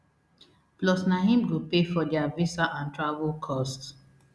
plus na im go pay for dia visa and travel costs